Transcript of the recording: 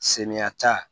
Senyata